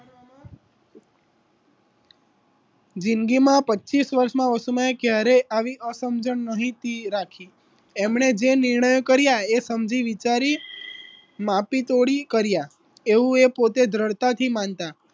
જિંદગીમાં પચીશ વર્ષમાં વસ્તુમાં સમયમાં ક્યારેય આવી અસમજણ ન હતી રાખી એમણે જે નિર્ણય કરીયા એ સમજી વિચારી માપી તોડી કરીયા એવુ એ પોતે દ્રળઢતાથી માનતા